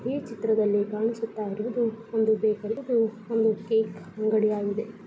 ಈ ಚಿತ್ರದಲ್ಲಿ ಕಾಣಿಸುತ್ತಾ ಇರುವುದು ಒಂದು ಬೇಕರಿ ಇದು ಒಂದು ಕೇಕ್ ಅಂಗಡಿಯಾಗಿದೆ .